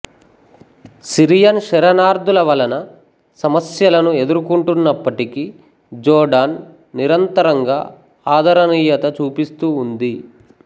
Syrian శరణార్ధుల వలన సమస్యలను ఎదుర్కొంటున్నప్పటికీ జోర్డాన్ నిరంతరంగా ఆదరణీయత చూపిస్తూ ఉంది